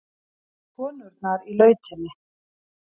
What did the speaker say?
Konurnar í lautinni.